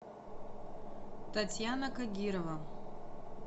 татьяна кагирова